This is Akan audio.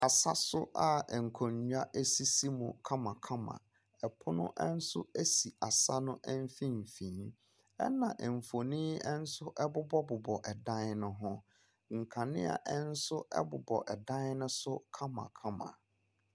Asaso nso a nkonwa esisi mu kamakama. Ɛpono ɛnso esi asa ne mfimfini ɛna nfonin ɛnso ɛbobɔbobɔ ɛdan ne ho. Nkanea nso ɛbobɔ ɛdan ne so kamakama.